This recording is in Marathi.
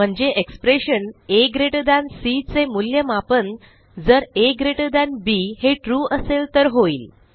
म्हणजे एक्सप्रेशन एसी चे मूल्यमापन जर अब हे ट्रू असेल तर होईल